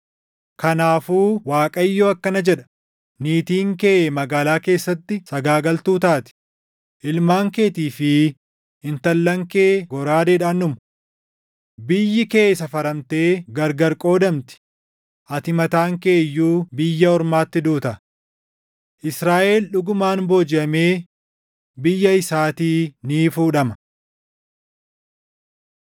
“Kanaafuu Waaqayyo akkana jedha: “ ‘Niitiin kee magaalaa keessatti sagaagaltuu taati; ilmaan keetii fi intallan kee goraadeedhaan dhumu. Biyyi kee safaramtee gargar qoodamti; ati mataan kee iyyuu biyya ormaatti duuta. Israaʼel dhugumaan boojiʼamee biyya isaatii ni fuudhama.’ ”